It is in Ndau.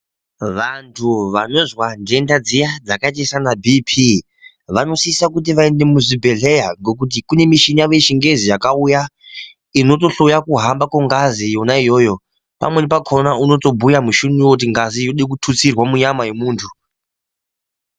Vantu vanozva ndenda dziya dzakaita sanabhiphi, vanosisa kuti vaende muzvibhedhleya ngokuti kuneshinawo yechingezi yakawuya inotohloya kuhamba kongazi yona yoyo. Pamweni pakhona unotobuya mushiniwo kuti ngazi yode kuthusirwa munyama yomuntu.